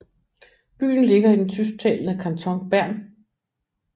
Byen ligger i det tysktalende kanton Bern